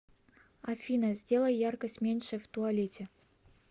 афина сделай яркость меньше в туалете